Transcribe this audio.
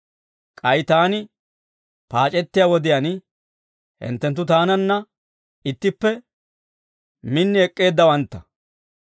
K'ay taani paac'ettiyaa wodiyaan hinttenttu taananna ittippe min ek'k'eeddawantta.